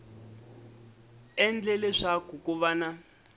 endle leswaku ku va na